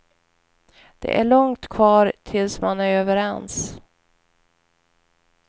Det är långt kvar tills man är överens.